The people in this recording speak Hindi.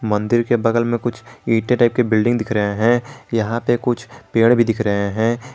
मंदिर के बगल में कुछ इंटर टाइप के बिल्डिंग दिख रहे हैं यहां पे कुछ पेड़ भी दिख रहे हैं।